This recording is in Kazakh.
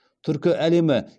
түркі әлемі